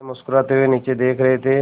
वे मुस्कराते हुए नीचे देख रहे थे